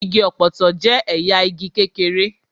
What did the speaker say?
Igi ọ̀pọ̀tọ́ jẹ́ ẹ̀yà igi kékeré.